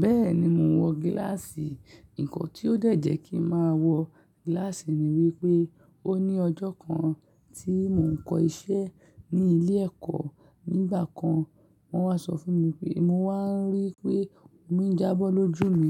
Bẹ́ẹ̀ni mò ń wọ gílàsì. Ìkàn tí ó dẹ́jẹ́ kí n máa wọ gílàsì ni wípé ó ní ọjọ́ kan tí mò ń kọ́ iṣẹ́ ní ilé ẹ̀kọ́. Nígbà kan wọ́n wá sọ fún mi pé mo wá ń rí pé omi ń jábọ̀ lójú mi.